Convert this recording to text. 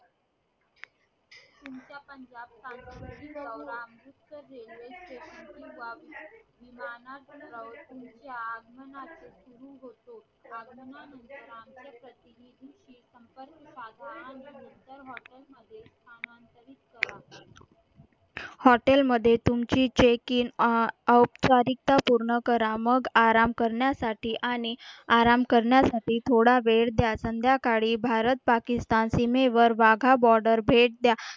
हॉटेलमध्ये तुमची check in औपचारिकता पूर्ण करा मग आराम करण्यासाठी आणि आराम करण्यासाठी थोडा वेळ द्या संध्याकाळी भारत पाकिस्तान सीमेवर वाघा बॉर्डर भेट द्या